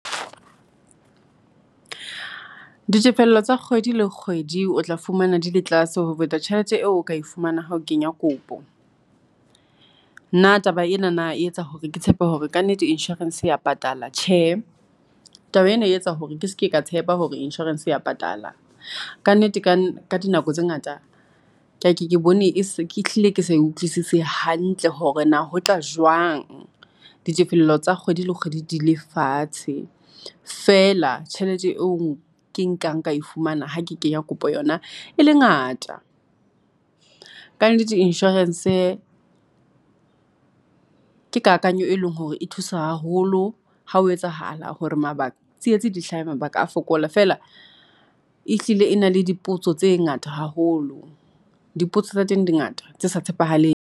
Ditefello tsa kgwedi le kgwedi. O tla fumana di le tlase ho feta tjhelete eo o ka e fumana ha o kenya kopo. Na taba ena na e etsa hore ke tshepe hore kannete insurance ya patala. Tjhe, taba ena e etsa hore ke seke ka tshepa hore insurance ya patala. Ka nnete ka ka dinako tse ngata ke ke bone ke hlile ke sa utlwisise hantle hore na ho tla jwang, ditefello tsa kgwedi le kgwedi di le fatshe. Feela, tjhelete eo ke nkang ka e fumana ha ke kenya kopo yona e le ngata. Kannete insurance, ke kakanyo e leng hore e thusa haholo. Ha ho etsahala hore mabaka tsietsi di hlaha mabaka a fokola. Feela e hlile e na le dipotso tse ngata haholo. Dipotso tsa teng di ngata tse sa tshepahaleng.